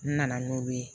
N nana n'o ye